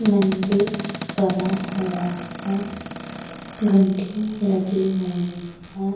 मंदिर बना हुआ है घंटियां लगी हुई हैं।